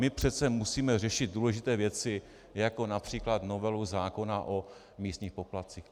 My přece musíme řešit důležité věci, jako například novelu zákona o místních poplatcích.